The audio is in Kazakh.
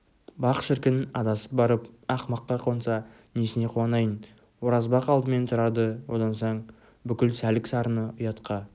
бақ шіркін адасып барып ақымаққа қонса несіне қуанайын оразбақ алдымен тұрарды одан соң бүкіл сәлік-сарыны ұятқа